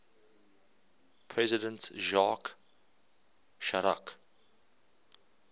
president jacques chirac